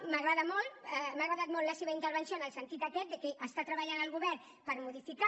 m’agrada molt m’ha agradat molt la seva intervenció en el sentit aquest que està treballant el govern per modificar